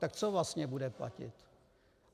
Tak co vlastně bude platit?